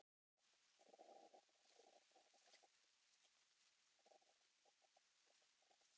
Giftur Börn: Ein sex mánaða stúlka Hvað eldaðir þú síðast?